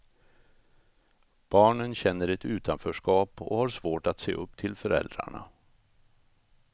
Barnen känner ett utanförskap och har svårt att se upp till föräldrarna.